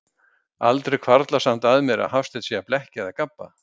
Aldrei hvarflar samt að mér, að Hafsteinn sé að blekkja eða gabba.